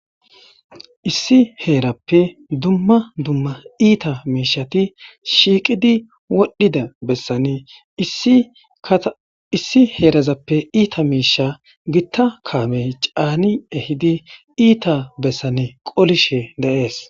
Issi heerappe dumma dumma iita miishati shiiqidi wodhdhida bessane kaaissi heerazappe iita miisha gitta kaamey caani ehidi iita bessane qolishe daees